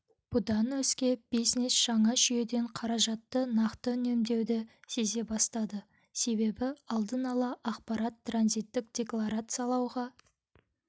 бұдан өзге бизнес жаңа жүйеден қаражатты нақты үнемдеуді сезе бастады себебі алдын ала ақпарат транзиттік декларациялауға